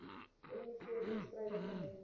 miv teenstrydig genoem